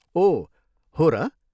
ओह, हो र!